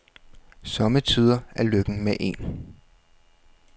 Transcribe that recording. Sommetider er lykken med en.